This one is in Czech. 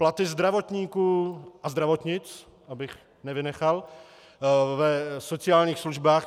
Platy zdravotníků a zdravotnic, abych nevynechal, v sociálních službách.